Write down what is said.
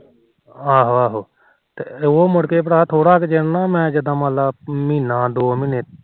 ਆਹੋ ਆਹੋ ਤੇ ਉਹ ਮੁੜਕੇ ਜਿਦਾ ਨਾ ਮੰਨਲਾ ਮਹੀਨਾ ਦੋ ਮਹੀਨੇ